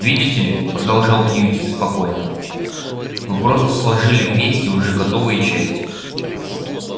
видите ли продолжал кьюти спокойно вы просто сложили вместе уже готовые части